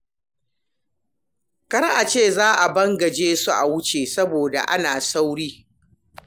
Kar a ce za a bangaje su a wuce saboda ana sauri.